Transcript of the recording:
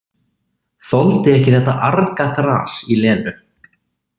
Þoldi ekki þetta argaþras í Lenu.